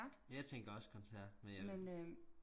jeg tænker også koncert men jeg